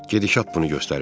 Gedişat bunu göstərir.